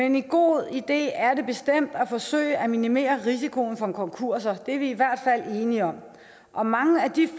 en god idé at forsøge at minimere risikoen for konkurser det er vi i hvert fald enige om og mange af de